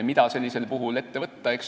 Mida sellisel puhul ette võtta?